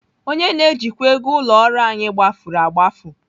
Onye na-ejikwa ego ụlọ ọrụ anyị gbafuru agbafu.